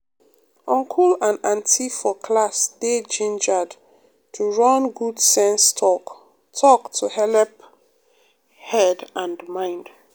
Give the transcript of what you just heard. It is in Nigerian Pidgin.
uncle and auntie for class dey gingered to run good sense talk-talk to helep um head and mind.